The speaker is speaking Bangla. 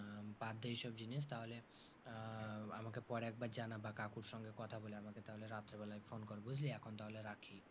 বাদদে ওইসব জিনিস। তাহলে আহ আমাকে পরে একবার জানাবা কাকুর সঙ্গে কথা বলে আমাকে তাহলে রাত্রিবেলায় phone কর বুঝলি, এখন তাহলে রাখি।